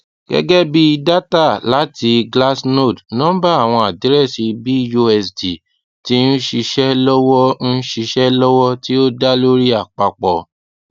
gẹgẹbi data lati glassnode nọmba awọn adirẹsi busd ti nṣiṣe lọwọ nṣiṣe lọwọ ti o da lori apapọ